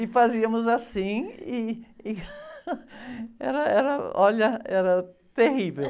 E fazíamos assim e, e... Era, era, olha, era terrível.